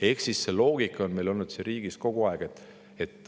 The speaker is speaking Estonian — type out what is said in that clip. Ehk siis sama loogika on meil olnud siin riigis kogu aeg.